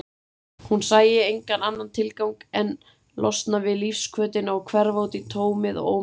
Hún sæi engan annan tilgang en losna við lífshvötina og hverfa útí tómið og óminnið.